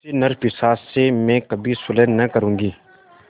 ऐसे नरपिशाच से मैं कभी सुलह न करुँगी